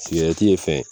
Sigɛrɛti ye fɛn ye